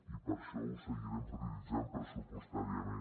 i per això ho seguirem prioritzant pressupostàriament